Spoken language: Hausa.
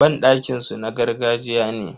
Banɗakin su na gargajiya ne.